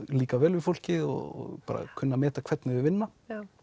líka vel við fólkið og kunna að meta hvernig þau vinna